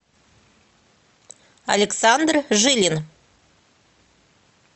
александр жилин